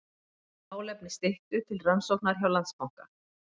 Málefni Styttu til rannsóknar hjá Landsbanka